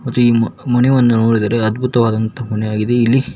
ಮತ್ತೆ ಈ ಮ ಈ ಮನೆವನ್ನು ನೋಡಿದ್ರೆ ಅದ್ಭುತವಾದಂತಹ ಮನೆಯಾಗಿದೆ ಇಲ್ಲಿ --